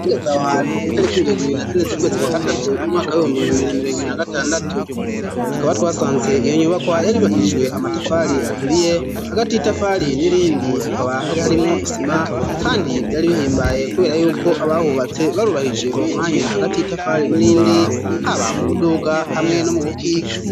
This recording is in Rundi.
Ugeze aho hantu itariki mirongo ibiri na zine zukwezi kwa gatatu umwaka w'ibihumbi bibiri na mirongo ibiri na gatandatu tukaba twasanze iyo nyubakwa yari yubakishijwe amatafari aturiye, hagati yitafari n'irindi hakaba hari harimwo isima kandi vyari bihimbaye kubera yuko abahubatse barubahije umwanya hagati itafari n'irindi haba mu buduga hamwe no mu bukika.